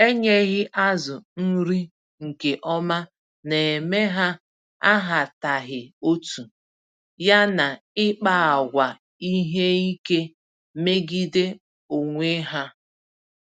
Enyeghị azụ nri nke ọma némè' ha ahataghị otú, ya na ịkpa àgwà ihe ike megide onwe ha.